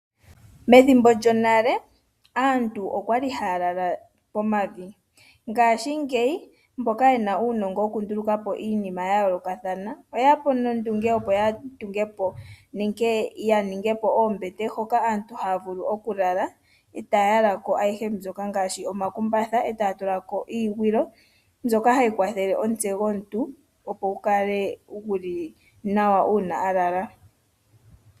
Methimbo lyonale aantu okwali haya lala pomavi, ngaashingeyi mboka yena uunongo wokunduluka po iinima yayoolokathana oye ya po nondunge opo ya tunge po nenge ya ninge po oombete hoka aantu haya vulu oku lala, e taya yala ko ayihe ngaashi omakumbatha, e taya tula ko iigwilo mbyoka hayi kwathele omutse gomuntu gukale guli nawa uuna a lala.